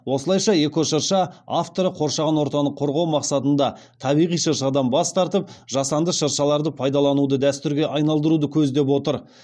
осылайша эко шырша авторы қоршаған ортаны қорғау мақсатында табиғи шыршадан бас тартып жасанды шыршаларды пайдалануды дәстүрге айналдыруды көздеп отыр